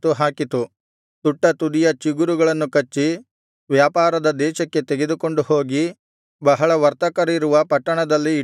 ತುಟ್ಟತುದಿಯ ಚಿಗುರುಗಳನ್ನು ಕಚ್ಚಿ ವ್ಯಾಪಾರದ ದೇಶಕ್ಕೆ ತೆಗೆದುಕೊಂಡು ಹೋಗಿ ಬಹಳ ವರ್ತಕರಿರುವ ಪಟ್ಟಣದಲ್ಲಿ ಇಟ್ಟುಬಿಟ್ಟಿತು